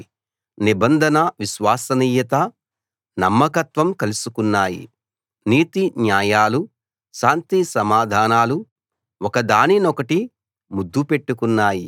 నిబంధన విశ్వసనీయత నమ్మకత్వం కలుసుకున్నాయి నీతిన్యాయాలు శాంతిసమాధానాలు ఒకదానినొకటి ముద్దు పెట్టుకున్నాయి